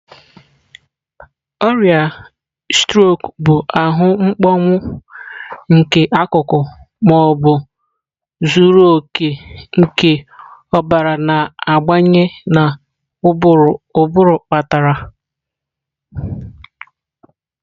Ọrịa strok bụ ahụ mkpọnwụ nke akụkụ ma ọ bụ zuru oke nke ọbara na-abanye na ụbụrụ kpatara.